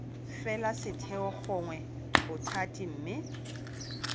fela setheo gongwe bothati mme